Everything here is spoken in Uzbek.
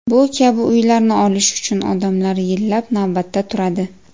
Bu kabi uylarni olish uchun odamlar yillab navbatda turadi.